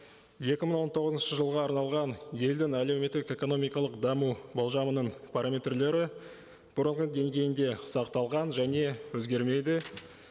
екі мың он тоғызыншы жылға арналған елдің әлеуметтік экономикалық даму болжамының параметрлері бұрынғы деңгейінде сақталған және өзгермейді